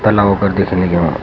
तलाव कर दिखनी लगीं वां।